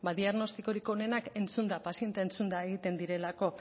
diagnostikorik onenak entzunda paziente entzuna egiten direlako